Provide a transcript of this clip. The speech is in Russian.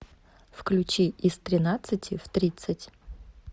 включи из тринадцати в тридцать